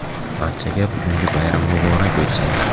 Barchaga bugungi bayram muborak bo‘lsin!.